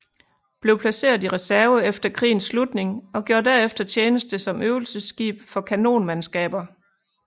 Blev placeret i reserve efter krigens slutning og gjorde derefter tjeneste som øvelsesskib for kanonmandskaber